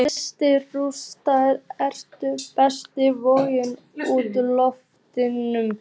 Þessi rúnstykki eru best volg úr ofninum.